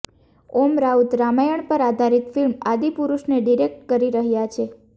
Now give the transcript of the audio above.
ઓમ રાઉત રામાયણ પર આધારિત ફિલ્મ આદિપુરુષને ડિરેક્ટ કરી રહ્યા છે